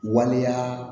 Waleya